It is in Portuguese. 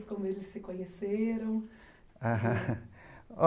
Como eles se conheceram? aham